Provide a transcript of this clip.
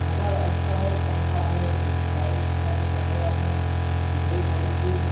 नजारा अच्छा है पंखा है ल लाइट्स है कैमेरा है डेर सारी चीज --